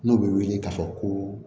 N'o bɛ wele k'a fɔ ko